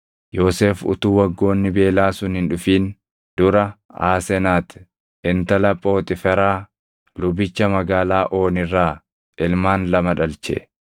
Yoosef utuu waggoonni beelaa sun hin dhufin dura Aasenati intala Phooxiiferaa lubicha magaalaa Ooni irraa ilmaan lama dhalche.